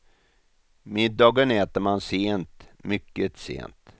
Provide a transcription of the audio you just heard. Middagen äter man sent, mycket sent.